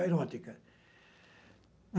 A erótica.